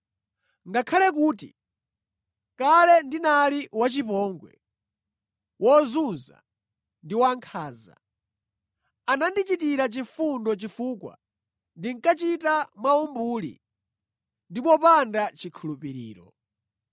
Ngakhale kuti kale ndinali wachipongwe, wozunza ndi wankhanza, anandichitira chifundo chifukwa ndinkachita mwaumbuli ndi mopanda chikhulupiriro.